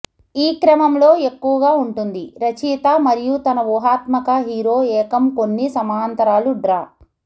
ఈ క్రమంలో ఎక్కువగా ఉంటుంది రచయిత మరియు తన ఊహాత్మక హీరో ఏకం కొన్ని సమాంతరాలు డ్రా